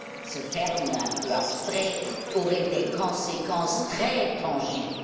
Ce terme un peu abstrait aurait des conséquences très tangibles.